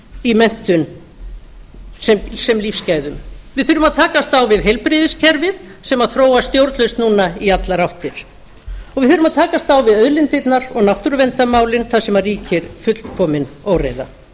í menntun sem lífsgæðum við þurfum að takast á við heilbrigðiskerfið sem þróast stjórnlaust núna í allar áttir og við þurfum að takast á við auðlindirnar og náttúruverndarmálin þar sem ríkir fullkomin óreiða